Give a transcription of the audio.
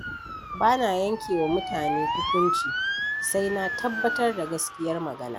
Ba na yanke wa mutane hukunci, sai na tabbatar da gaskiyar magana.